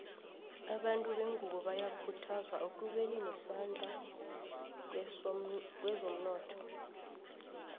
abantu bengunbo bayakhuthazwa ekubeni nesandla kwezomnotho